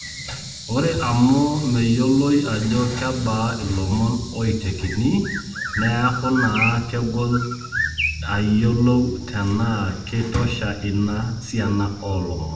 Ore amu meyioloi ajo kebaa ilomon oitekini, neaku naa kegol ayiolou tenaa keitosha ina siana oolomon.